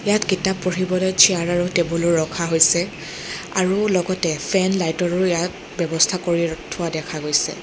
ইয়াত কিতাপ পঢ়িবলৈ চিয়াৰ আৰু টেবুলো ৰখা হৈছে আৰু লগতে ফেন লাইট ৰো ইয়াত ব্যৱস্থা কৰিৰ থোৱা দেখা গৈছে।